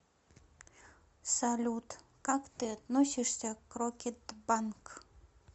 салют как ты относишься к рокетбанк